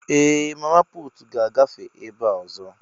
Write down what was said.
Ee! Mama puutu ga-agafe ebe a ọzọ.